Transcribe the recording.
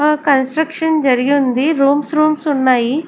ఆ కన్స్స్ట్రక్షన్ జరిగి ఉంది రూమ్స్ రూమ్స్ ఉన్నాయి.